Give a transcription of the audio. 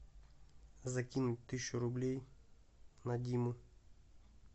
закинь тысячу рублей на диму